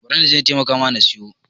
Bari na taimaka ma na siyo.